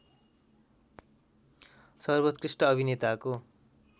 सर्बोत्कृष्ट अभिनेताको